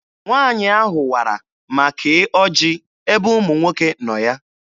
Nwaanyị ahụ wara ma kee ọjị ebe ụmụ nwoke nọ ya.